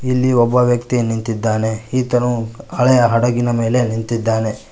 ಇಲ್ಲಿ ಒಬ್ಬ ವ್ಯಕ್ತಿಯು ನಿಂತಿದ್ದಾನೆ ಈತನೂ ಹಳೆಯ ಹಡಗಿನ ಮೇಲೆ ನಿಂತಿದ್ದಾನೆ.